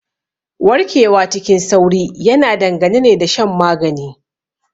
Warkewa cikin sauri yana dangana ne da shan magani.